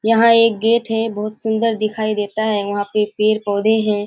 यहाँ एक गेट हैबहोत सुंदर दिखाई देता हैवहाँ पे पेड़-पौधे हैं।